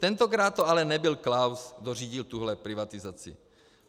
Tentokrát to ale nebyl Klaus, kdo řídil tuhle privatizaci.